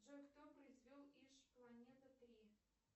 джой кто произвел иж планета три